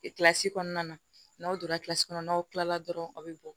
Kilasi kɔnɔna na n'aw donna kilasi kɔnɔ n'aw kila la dɔrɔn aw bɛ bɔ